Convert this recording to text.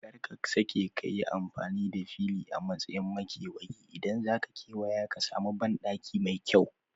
Kar ka sake kayi amfani da fili a matsayin makewayi, idan zaka kewaya ka samu banɗaki mai kyau